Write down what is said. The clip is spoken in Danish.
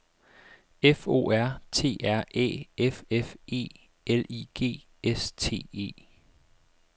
F O R T R Æ F F E L I G S T E